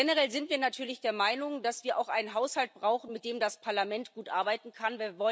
Generell sind wir natürlich der Meinung, dass wir auch einen Haushalt brauchen, mit dem das Parlament gut arbeiten kann.